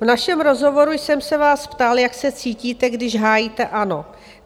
V našem rozhovoru jsem se vás ptal, jak se cítíte, když hájíte ANO.